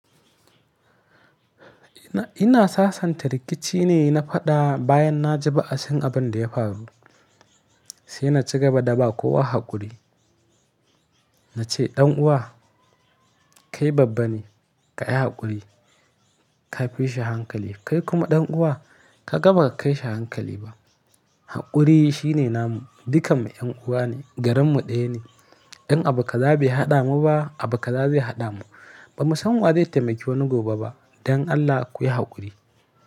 Ina, ina sasanta rikici ne na faɗa bayan na ji ba'asin abin da ya faru. Sai na ci gaba da ba kowa haƙuri. Na ce ɗan'uwa kai babban ne ka yi haƙuri, ka fi shi hankali. Kai kuma ɗan'uwa kaga ba ka kai shi hankali ba. Haƙuri shine namu, dukanmu 'yan'uwa ne, garinmu ɗaya ne. In abu kaza bai haɗa mu ba, abu kaza zai haɗa mu. Bamu san wa zai taimaki wani gobe ba don Allah ku yi haƙuri.